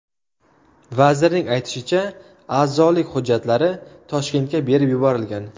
Vazirning aytishicha, a’zolik hujjatlari Toshkentga berib yuborilgan.